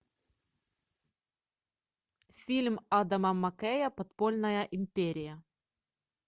фильм адама маккея подпольная империя